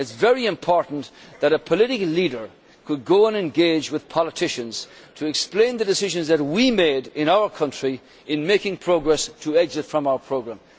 It is very important that a political leader could go and engage with politicians to explain the decisions that we made in our country in making progress to exit from our programme.